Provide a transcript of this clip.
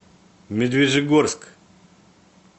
медвежьегорск